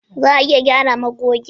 Za a iya gyara magogin?